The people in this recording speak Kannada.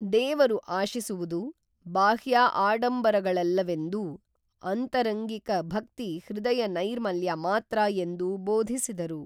ದೇವರು ಆಶಿಸುವುದು ಬಾಹ್ಯಾ ಆಡಂಬರಗಳಲ್ಲವೆಂದೂ ಆಂತರಂಗಿಕ ಭಕ್ತಿ ಹೃದಯ ನೈರ್ಮಲ್ಯ ಮಾತ್ರ ಎಂದೂ ಬೋಧಿಸಿದರು